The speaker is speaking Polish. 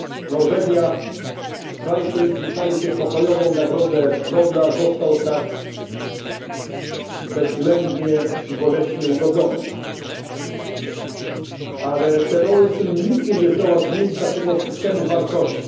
nie zna granic. Norwegia kraj, w którym przyznaje się pokojową nagrodę Nobla został tak bezwzględnie i boleśnie ugodzony. Ale terroryzm nigdy nie zdoła zmienić naszego